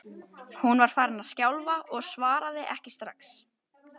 Hún var farin að skjálfa og svaraði ekki strax.